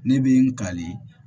Ne bɛ n kali